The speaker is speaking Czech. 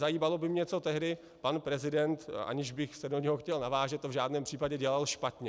Zajímalo by mě, co tehdy pan prezident, aniž bych se do něj chtěl navážet, to v žádném případě, dělal špatně.